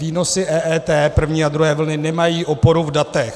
Výnosy EET první a druhé vlny nemají oporu v datech.